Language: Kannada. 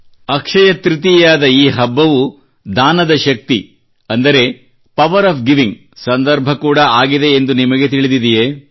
ಅಕ್ಷಯ ತೃತೀಯಾದ ಈ ಹಬ್ಬವು ದಾನದ ಶಕ್ತಿ ಅಂದರೆ ಪವರ್ ಒಎಫ್ ಗಿವಿಂಗ್ ಸಂದರ್ಭ ಕೂಡಾ ಆಗಿದೆ ಎಂದು ನಿಮಗೆ ತಿಳಿದಿದೆಯೇ